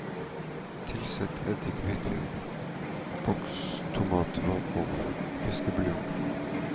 Tilsett eddik, hvitvin, bokstomat, vann og fiskebuljong.